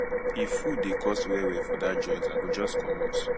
if food dey cost wellwell for that joint i go just comot